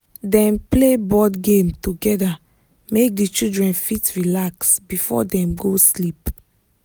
dem play board game together make the children fit relax before dem go sleep.